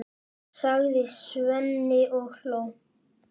sagði Svenni og hló.